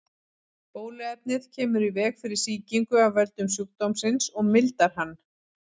Bóluefnið kemur í veg fyrir sýkingu af völdum sjúkdómsins og mildar hann.